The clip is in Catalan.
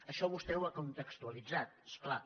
això vostè ho ha contextualitzat és clar